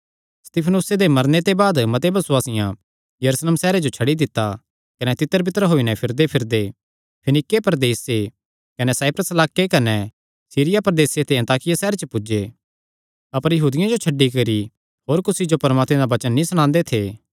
स्तिफनुसे दे मरने दे बाद मते बसुआसियां यरूशलेम सैहरे जो छड्डी दित्ता कने तितर बितर होई नैं फिरदेफिरदे फीनीके प्रदेसे कने साइप्रस लाक्के कने सीरिया प्रदेसे दे अन्ताकिया सैहरे च पुज्जे अपर यहूदियां जो छड्डी करी होर कुसी जो परमात्मे दा वचन नीं सणांदे थे